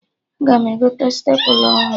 Aga m egote stepla ọhụrụ